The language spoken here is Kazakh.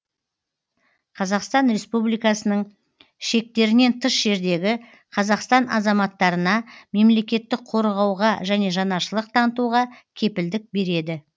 қазақстан республикасының шектерінен тыс жердегі қазақстан азаматтарына мемлекеттік қорғауға және жанашырлық танытуға кепілдік береді